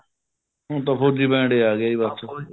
ਹੁਣ ਤਾ ਫ਼ੋਜੀ ਬੈੰਡ ਆ ਗਿਆ ਜੀ ਬੱਸ